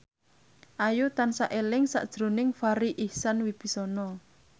Ayu tansah eling sakjroning Farri Icksan Wibisana